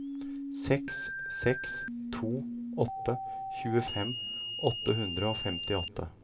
seks seks to åtte tjuefem åtte hundre og femtiåtte